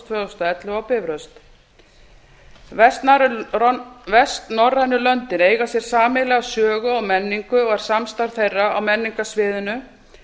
þúsund og ellefu á bifröst vestnorrænu löndin eiga sér sameiginlega sögu og menningu og er samstarf þeirra á menningarsviðinu